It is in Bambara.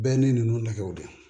Bɛɛ ni ninnu nɛgɛw de